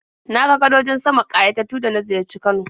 Na ga gadojin sama ƙayatattu da na ziyarci Kano.